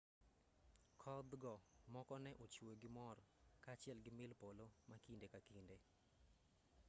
kodhgo moko ne ochwe gi mor kaachiel gi mil polo ma kinde ka kinde